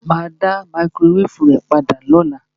Mà á dá máíkrówévù rẹ padà lọ́la.